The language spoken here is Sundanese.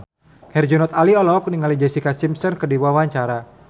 Herjunot Ali olohok ningali Jessica Simpson keur diwawancara